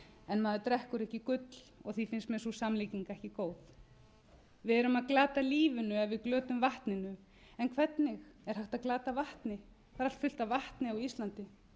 en maður drekkur ekki gull því finnst mér sú samlíking ekki góð við erum að glata lífinu ef við glötum vatninu en hvernig er hægt að glata vatni það er allt fullt af vatni á íslandi